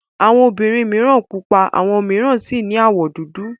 Awọn obìnrin mìíràn pupa àwọn mìíràn sì ní àwọ̀ dúdú.